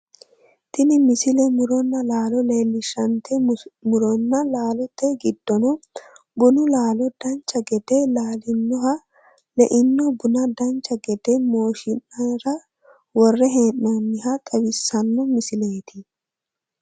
tini misile muronna laalo leellishshannte muronna laalote giddono bunu laalo dancha gede laalinoha leino buna dancha gede mooshshinara worre hee'noonniha xawissanno misileeti